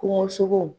Kungosogo